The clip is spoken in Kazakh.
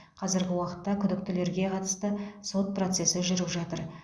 қазіргі уақытта күдіктілерге қатысты сот процесі жүріп жатыр